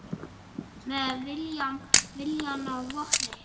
Með viljann að vopni